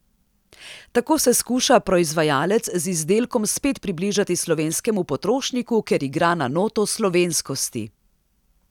Tako se skuša proizvajalec z izdelkom spet približati slovenskemu potrošniku, ker igra na noto slovenskosti.